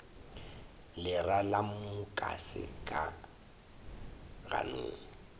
lera la mukase ka ganong